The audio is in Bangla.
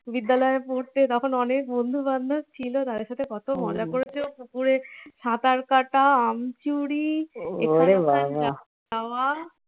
বিদ্যালয়ে পড়তে তখন অনেক বন্ধু বান্ধব ছিল যাদের সাথে কত মজা করেছো পুকুরে সাঁতার কাঁটা, আম চুরি খাওয়া